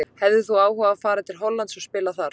Hefðir þú áhuga á að fara til Hollands og spila þar?